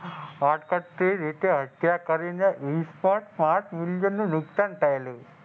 રીતે હત્યા કરીને five million નું નુકસાન થયેલું.